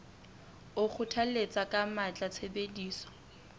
o kgothalletsa ka matla tshebediso